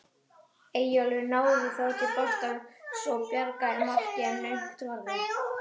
Eyjólfur náði þó til boltans og bjargaði marki en naumt var það.